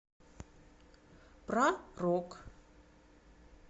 про рок